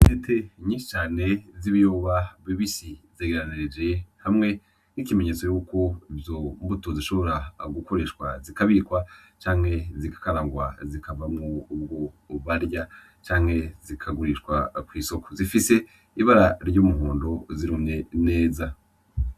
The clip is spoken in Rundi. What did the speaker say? Intete nyinshi cane z'ibihuba bibisi zegereranyirije hamwe n'ikimenyetso yuko izo mbuto zishobora gukoreshwa zikabikwa, canke zigakarangwa zikavamwo ubwo barya canke zikagurishwa kw'isoko, zifise ibara ry'umuhondo zirumye neza.